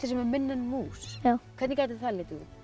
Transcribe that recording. sem er minna en mús hvernig gæti það litið út